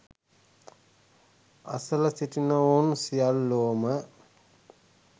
අසළ සිටිනවුන් සියල්ලෝම